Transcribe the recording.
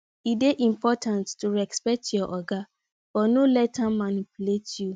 e dey important to respect your oga but no let am manipulate you